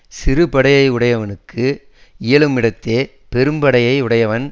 சிறுபடையை யுடையவனுக்கு இயலுமிடத்தே பெரும்படையை யுடையவன்